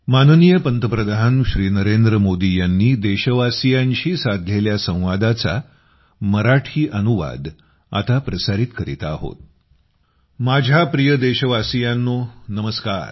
माझ्या प्रिय देशवासियांनो नमस्कार